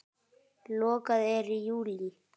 Lokað er í júlí.